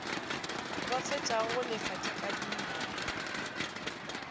ba fetšago go lefa dikadimo